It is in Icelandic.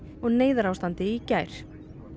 neyðarástandi í gær